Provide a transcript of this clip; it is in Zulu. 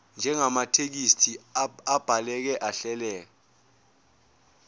njengamathekisthi abhaleke ahleleka